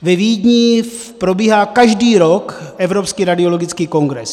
Ve Vídni probíhá každý rok Evropský radiologický kongres.